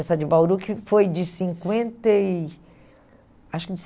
Essa de Bauru que foi de cinquenta e acho que de